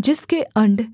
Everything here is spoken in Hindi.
जिसके अण्ड